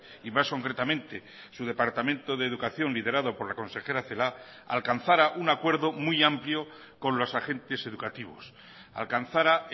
y más concretamente su departamento de educación liderado por la consejera celaá alcanzara un acuerdo muy amplio con los agentes educativos alcanzara